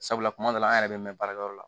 Sabula kuma dɔ la an yɛrɛ bɛ mɛn baarakɛyɔrɔ la